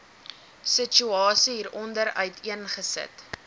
situasie hieronder uiteengesit